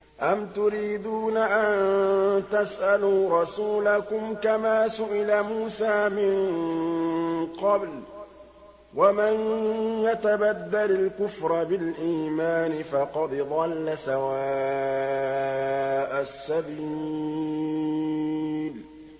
أَمْ تُرِيدُونَ أَن تَسْأَلُوا رَسُولَكُمْ كَمَا سُئِلَ مُوسَىٰ مِن قَبْلُ ۗ وَمَن يَتَبَدَّلِ الْكُفْرَ بِالْإِيمَانِ فَقَدْ ضَلَّ سَوَاءَ السَّبِيلِ